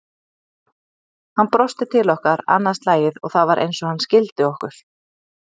Hann brosti til okkar annað slagið og það var eins og hann skildi okkur.